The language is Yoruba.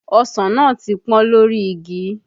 Ọsàn náà ti pọ́n lórí igi